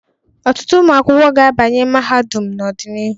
Ọtụtụ ụmụ akwụkwọ ga-abanye mahadum n'ọdịnihu.